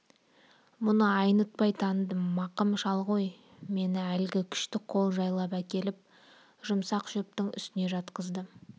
мұны айнытпай таныдым мақым шал ғой мені әлгі күшті қол жайлап әкеліп жұмсақ шөптің үстіне жатқызды